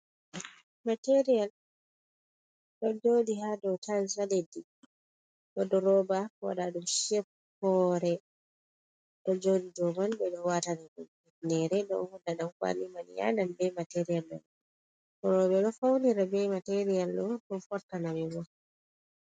Material ɗo jodi ha dow tiles ha leddi wodi roba waɗaɗum shape hore ɗo jodi doman ɓeɗo waatana ɗum hifnere ɗo hoda ɗan kwali man yadan be material man roɓe ɗou faunira bei material man ɗow fortanaɓe bo.